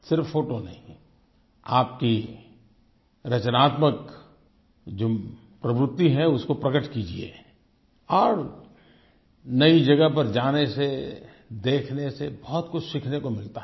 सिर्फ़ फोटो नहीं आपकी रचनात्मक जो प्रवृति है उसको प्रकट कीजिए और नई जगह पर जाने से देखने से बहुत कुछ सीखने को मिलता है